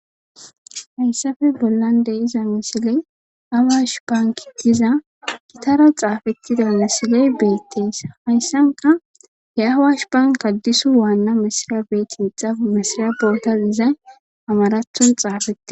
hayssafe bollande iza misiley awash banki diza gitara xaafettida misiley beettees hayssanka he awash banka disu waanna misira beetinxafu misira bootas izay amarathon xaafetti